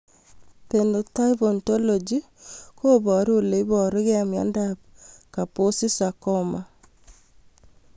Phenotype ontology koparu ole iparukei miondop Kaposi sarcoma